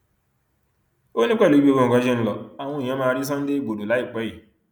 ó ní pẹlú bí gbogbo nǹkan ṣe ń lo àwọn èèyàn máa rí sunday igbodò láìpẹ yìí